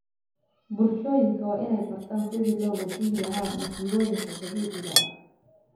Bulshooyinka waa inay bartaan sidii loo wajahilahaa masiibooyinka dabiiciga ah.